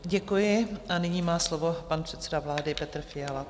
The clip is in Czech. Děkuji a nyní má slovo pan předseda vlády Petr Fiala.